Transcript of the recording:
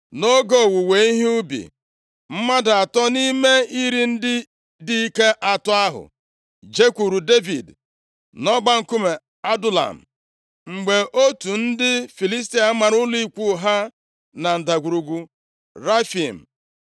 Nʼoge owuwe ihe ubi, mmadụ atọ nʼime iri ndị dike atọ ahụ, jekwuru Devid nʼọgba nkume Adulam, mgbe otù ndị Filistia mara ụlọ ikwu ha na Ndagwurugwu Refaim.